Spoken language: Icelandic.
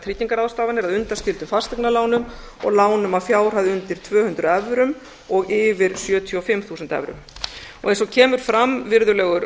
tryggingarráðstafanir að undanskildum fasteignalánum og lánum að fjárhæð undir tvö hundruð evrum og yfir sjötíu og fimm þúsund evrum eins og kemur fram virðulegur